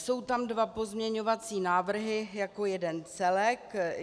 Jsou tam dva pozměňovací návrhy jako jeden celek.